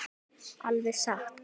Alveg satt?